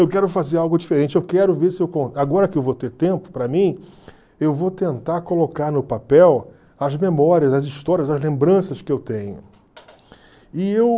Eu quero fazer algo diferente, eu quero ver se eu... Agora que eu vou ter tempo, para mim, eu vou tentar colocar no papel as memórias, as histórias, as lembranças que eu tenho.